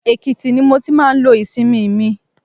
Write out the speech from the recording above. Èkìtì ni mo ti máa ń lo ìsinmi mi.